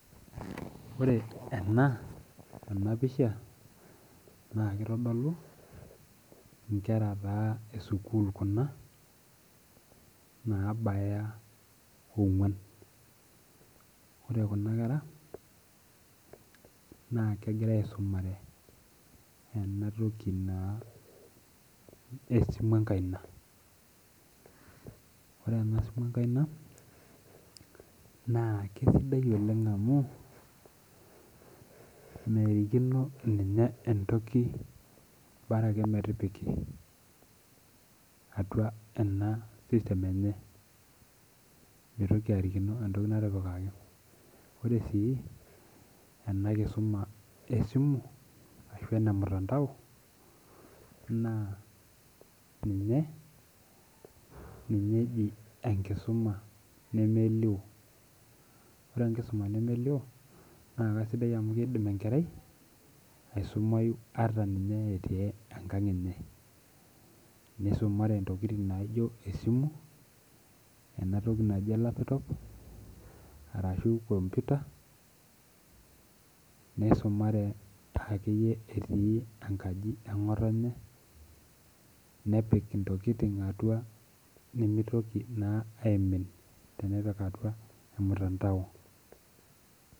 Ore ena enapisha, na kitodolu inkera taa esukuul kuna, nabaya ong'uan. Ore kuna kera, na kegira aisumare enatoki naa esimu enkaina. Ore enasimu enkaina, naa kesidai oleng amu, merikino ninye entoki bara ake metipiki, atua ena system enye. Mitoki arikino entoki natipikaki. Ore si enakisuma esimu, ashu enemutandao, naa ninye, ninye eji enkisuma nemelio. Ore enkisuma nemelio, na kasidai amu kidim enkerai aisumayu ata ninye etii enkang enye. Nisumare intokiting naijo esimu, enatoki naji olapitop, arashu computer, nisumare akeyie etii enkaji eng'otonye, nepik intokiting atua nimitoki naa aimin tenepik atua emutandao.